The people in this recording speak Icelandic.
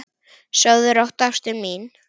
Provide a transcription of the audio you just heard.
Sofðu rótt, ástin mín.